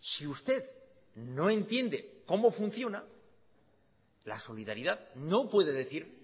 si usted no entiende cómo funciona la solidaridad no puede decir